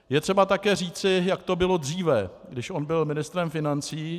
Je třeba také říci, jak to bylo dříve, když on byl ministrem financí.